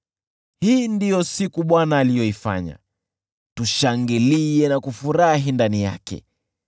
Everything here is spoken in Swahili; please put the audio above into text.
Hii ndiyo siku Bwana aliyoifanya, tushangilie na kufurahi ndani yake.